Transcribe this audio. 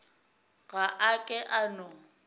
ga a ke a no